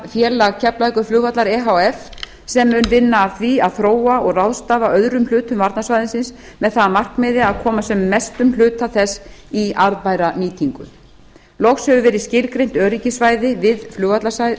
þróunarfélag keflavíkurflugvallar e h f sem mun vinna að því að þróa og ráðstafa öðrum hlutum varnarsvæðisins með það að markmiði að koma sem mestum hluta þess í arðbæra nýtingu loks hefur verið skilgreint öryggissvæði við flugvallarsvæðið